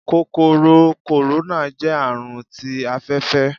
Kòkòrò kòróná. jẹ Àrùn tí afẹfẹ